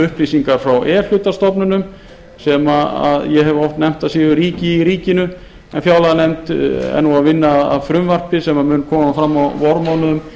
upplýsingar frá e hluta stofnunum sem ég hef oft nefnt að séu ríki í ríkinu en fjárlaganefnd er að vinna að frumvarpi sem mun koma fram á vormánuðum